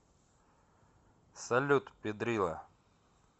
салют пидрила